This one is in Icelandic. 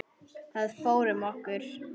Það fór um okkur.